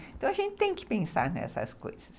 Então, a gente tem que pensar nessas coisas.